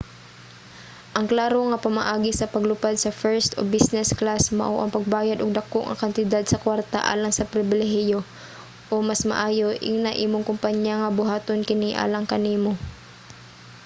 ang klaro nga pamaagi sa paglupad sa first o business class mao ang pagbayad og dako nga kantidad sa kwarta alang sa pribilehiyo o mas maayo ingna imong kompanya nga buhaton kini alang kanimo